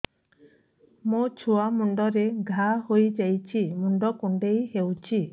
ମୋ ଛୁଆ ମୁଣ୍ଡରେ ଘାଆ ହୋଇଯାଇଛି ମୁଣ୍ଡ କୁଣ୍ଡେଇ ହେଉଛି